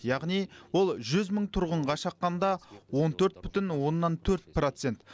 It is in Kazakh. яғни ол жүз мың тұрғынға шаққанда он төрт бүтін оннан төрт процент